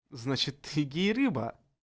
значит триггер рыба